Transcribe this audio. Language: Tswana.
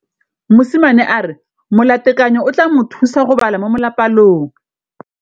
Mosimane a re molatekanyô o tla mo thusa go bala mo molapalong.